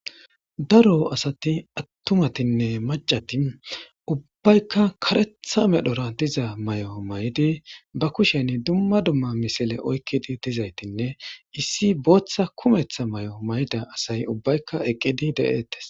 daro asati attumatinne macati ubbaykka karetha medhora diza may7o may7di ba kushen dumma dumma misile oykkidi dizaytinne issi booththa kumeththa may7o mayda asay ubbaykka eqqidi de7eettes